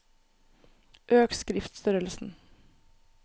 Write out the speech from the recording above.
Øk skriftstørrelsen